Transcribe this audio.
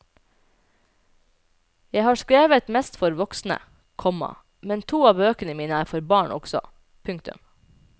Jeg har skrevet mest for voksne, komma men to av bøkene mine er for barn også. punktum